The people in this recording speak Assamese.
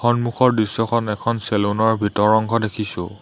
সন্মুখৰ দৃশ্যখন এখন চেলুন ৰ ভিতৰৰ অংশ দেখিছোঁ।